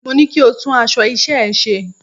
Mo ní kí o tún aṣọ iṣẹ́ ẹ ṣe!